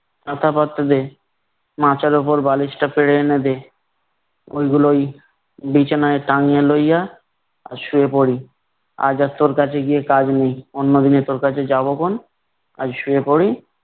কাথাপত্র দে। মাচার উপর বালিশটা পেরে এনে দে। ঐগুলোই বিছানায় টাঙিয়ে লইয়া শুয়ে পড়ি। আজ আর তোর কাছে গিয়ে কাজ নেই। অন্যদিনে তোর কাছে যাবখন। আজ শুয়ে পড়ি।